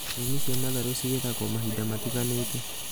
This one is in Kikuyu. Nyeni cia matharũ cigethagwo mahinda matiganĩte